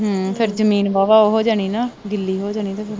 ਹੂੰ ਫਿਰ ਜਮੀਨ ਵਾਹਵਾ ਉਹ ਜਾਣੀ ਆ, ਗਿੱਲੀ ਹੋ ਜਾਣੀ।